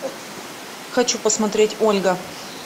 хочу посмотреть ольга